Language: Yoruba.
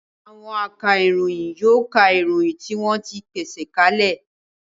Àwọn akaròyìn yóò ka ìròyìn tí wọ́n ti pèsè ka lẹ̀